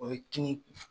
O ye kin